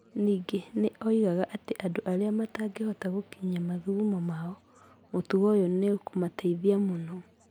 Ningĩ nĩ oigaga atĩ andũ arĩa matangĩhota gwĩkinyia mathugumo mao, mũtugo oyũ ni ukuumateithia mũno.